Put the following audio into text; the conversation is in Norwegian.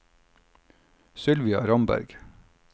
Sylvia Ramberg